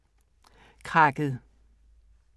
Krakket